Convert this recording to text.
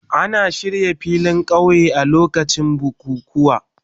Ana shirya filin kauye a lokacin bukukuwa.